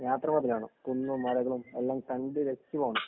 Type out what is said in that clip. യാത്ര മുതലാവണം.. കുന്നും, മലകളും എല്ലാം കണ്ടു രസിച്ചു പോണം.